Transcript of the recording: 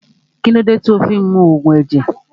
Kílódé tí o fí ń mu Ògùn ẹ̀jẹ̀